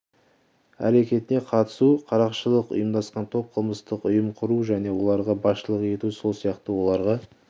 әрекетіне қатысу қарақшылық ұйымдасқан топ қылмыстық ұйым құру және оларға басшылық ету сол сияқты оларға